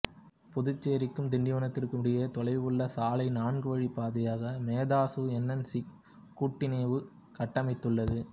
புதுச்சேரிக்கும் திண்டிவனத்திற்கும் இடையே தொலைவுள்ள சாலை நான்குவழிப் பாதையாக மேதாசுஎன்சிசி கூட்டிணைவு கட்டமைத்துள்ளது